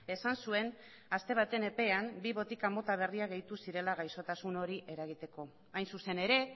esan zuen aste baten epean bi botika mota berriak gehitu zirela gaixotasun hori eragiteko hain zuzen ere